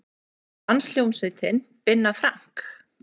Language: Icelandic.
Danshljómsveit Binna Frank